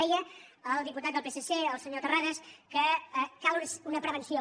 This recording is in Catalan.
deia el diputat del psc el senyor terrades que cal una prevenció